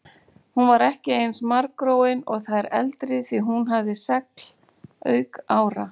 Hún var ekki eins margróin og þær eldri því hún hafði segl auk ára.